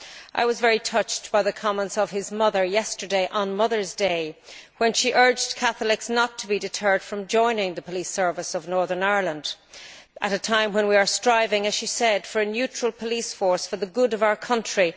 I was very touched by the comments of his mother yesterday on Mothers' Day, when she urged Catholics not to be deterred from joining the Police Service of Northern Ireland at a time when we are striving, as she said, for a neutral police force for the good of our country.